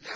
يَا